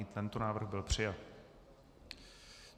I tento návrh byl přijat.